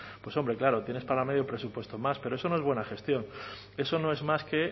públicas pues hombre claro tienes para medio pero es no es buena gestión eso no es más que